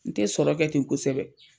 N tɛ sɔrɔ kɛ ten kosɛbɛ.